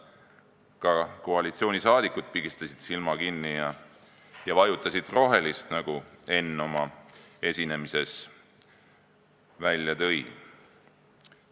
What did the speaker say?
Ka koalitsioonisaadikud pigistasid silma kinni ja vajutasid rohelist nuppu, nagu Enn oma esinemises välja tõi.